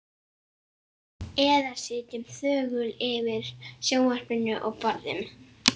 Eða sitjum þögul yfir sjónvarpinu og borðum.